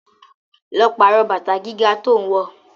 Lọ pàrọ̀ bàtà gíga tó ń wọ.